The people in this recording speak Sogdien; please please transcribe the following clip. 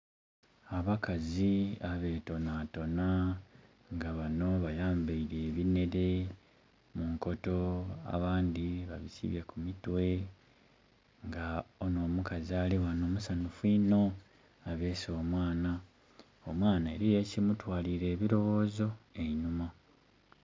Abakazi abetonatona nga bano bayambaile ebinhere mu nkoto, abandi babisibye ku mitwe, nga ono omukazi ali ghano musanufu ino, abeese omwana, omwana eliyo ekumutwalire ebiroghozo einuma.